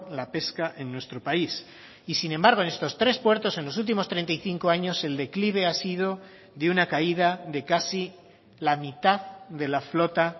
la pesca en nuestro país y sin embargo en estos tres puertos en los últimos treinta y cinco años el declive ha sido de una caída de casi la mitad de la flota